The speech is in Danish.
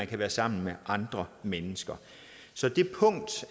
kan være sammen med andre mennesker så det punkt